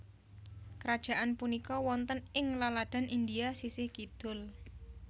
Krajaan punika wonten ing laladan India sisih kidul